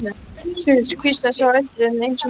Suss hvíslaði sá eldri enn einu sinni.